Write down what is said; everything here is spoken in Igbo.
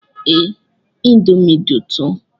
Ee, indomie dị ụtọ